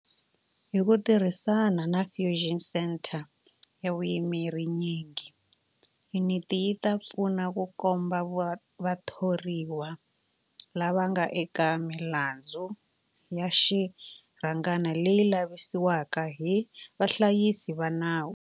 Hi ku tirhisana na Fusion Centre ya vuyimeri nyingi, yuniti yi ta pfuna ku komba vathoriwa lava nga eka milandzu ya xirhangana leyi lavisisiwaka hi vahlayisi va nawu.